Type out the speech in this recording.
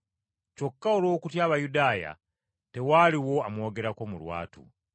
Kyokka olw’okutya Abayudaaya, tewaaliwo amwogerako mu lwatu.